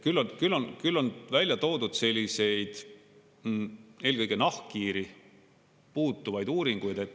Küll on välja toodud selliseid eelkõige nahkhiiri puudutavaid uuringuid.